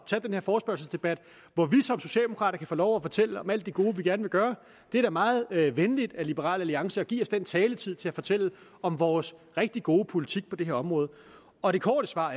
taget den her forespørgselsdebat hvor vi som socialdemokrater kan få lov at fortælle om alt det gode vi gerne vil gøre det er da meget venligt af liberal alliance at give os den taletid til at fortælle om vores rigtig gode politik på det her område og det korte svar